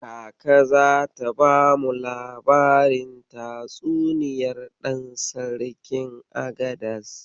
Kaka zata bamu labarin tatsuniyar Ɗan Sarkin Agadas.